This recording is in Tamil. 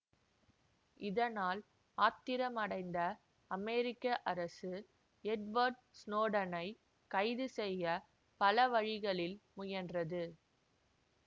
இதனால் ஆத்திரம் அடைந்த அமெரிக்க அரசு எட்வர்ட் ஸ்னோடனை கைது செய்ய பல வழிகளில் முயன்றது